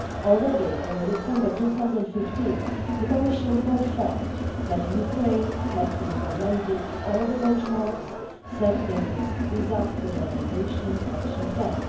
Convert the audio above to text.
Already in December 2015, the Commission confirmed that Ukraine had implemented all the benchmarks set out in its visa liberalisation action plan.